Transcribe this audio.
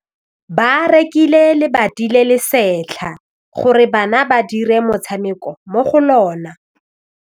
Ba rekile lebati le le setlha gore bana ba dire motshameko mo go lona.